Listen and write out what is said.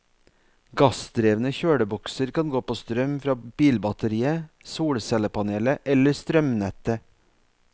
Gassdrevne kjølebokser kan gå på strøm fra bilbatteriet, solcellepanelet eller strømnettet.